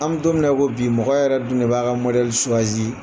An bɛ don min na i ko bi, mɔgɔ yɛrɛ dun de b'a ka mɔdɛli .